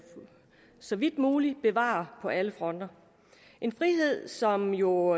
så vidt muligt skal bevare på alle fronter en frihed som jo